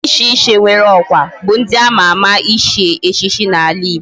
Ndi di iche iche nwere okwa bu ndi ama ama ichi echichi na ala igbo